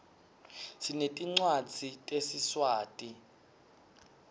sinetincwadzi tesiswati